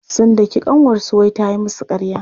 Sun daki ƙanwarsu wai ta yi musu ƙarya.